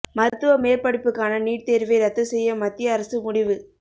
மருத்துவ மேற்படிப்புக்கான நீட் தேர்வை ரத்து செய்ய மத்திய அரசு முடிவு